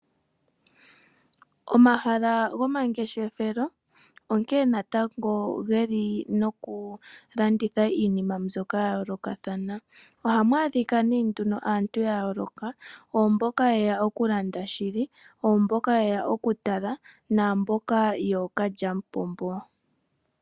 Omahala gomangeshefelo onkene natango ge li nokulanditha iinima mbyoka ya yoolokathana, ohamu adhika aantu yayoloka , pu na mboka ye ya okulanda shili , naa mboka ye ya okutala, nookalyamupombo.